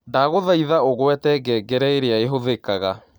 Ndagũthaĩthaũgwete ngengereĩrĩaĩhũthĩkaga